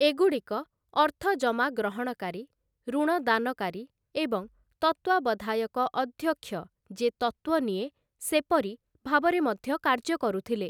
ଏଗୁଡ଼ିକ ଅର୍ଥଜମା ଗ୍ରହଣକାରୀ, ଋଣ ଦାନକାରୀ ଏବଂ ତତ୍ତ୍ୱାବଧାୟକ ଅଧ୍ୟକ୍ଷ ଯେ ତତ୍ତ୍ଵ ନିଏ ସେପରି ଭାବରେ ମଧ୍ୟ କାର୍ଯ୍ୟ କରୁଥିଲେ ।